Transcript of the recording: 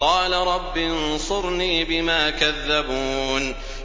قَالَ رَبِّ انصُرْنِي بِمَا كَذَّبُونِ